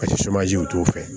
Paseke t'o fɛ